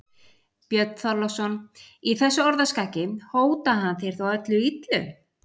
Björn Þorláksson: Í þessu orðaskaki, hótaði hann þér þá öllu illu?